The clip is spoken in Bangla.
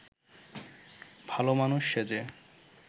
ভালমানুষ সেজে